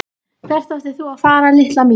Hvert átt þú að fara litla mín?